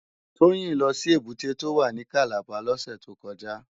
Toyin lò si ébùté tó wá ni Kàlábá lòsè tó kòjá